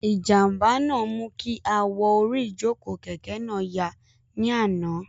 Ìjànbá náà mú kí awọ orí ìjòkó kẹ̀kẹ́ náà ya ní àná